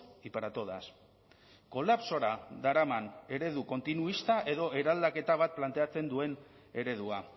y para todas kolapsora daraman eredu kontinuista edo eraldaketa bat planteatzen duen eredua